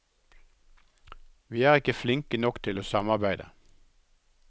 Vi er ikke flinke nok til å samarbeide.